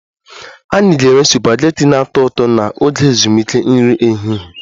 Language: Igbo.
Anyị ga-enwe supagetii na-atọ ụtọ n'oge ezumike nri ehihie